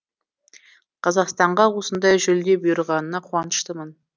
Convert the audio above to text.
қазақстанға осындай жүлде бұйырғанына қуаныштымын